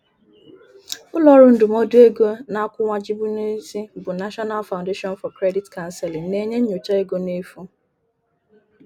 Ụlọọrụ ndụmọdụ ego na-akwuwagjibueu n'isi bu National Foundation for Credit Counseling na-enye nnyocha ego n'efu.